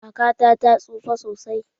Kakata ta tsufa sosai.